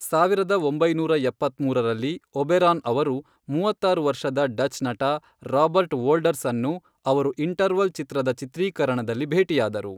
ಸಾವಿರದ ಒಂಬೈನೂರ ಎಪ್ಪತ್ಮೂರರಲ್ಲಿ, ಒಬೆರಾನ್ ಅವರು ಮೂವತ್ತಾರು ವರ್ಷದ ಡಚ್ ನಟ ರಾಬರ್ಟ್ ವೋಲ್ಡರ್ಸ್ ಅನ್ನು ಅವರು ಇಂಟರ್ವಲ್ ಚಿತ್ರದ ಚಿತ್ರೀಕರಣದಲ್ಲಿ ಭೇಟಿಯಾದರು.